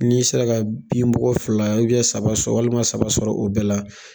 N'i sera ka bin bɔ ko fila saba sɔrɔ, walima saba sɔrɔ ,o bɛɛ la.